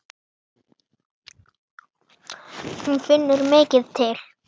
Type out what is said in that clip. Hún finnur mikið til.